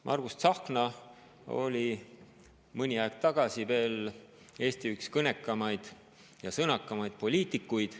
Veel mõni aeg tagasi oli Margus Tsahkna üks Eesti kõnekamaid ja sõnakamaid poliitikuid.